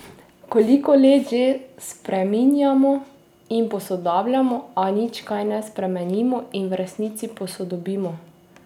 Koliko let že spreminjamo in posodabljamo, a nič kaj ne spremenimo in v resnici posodobimo?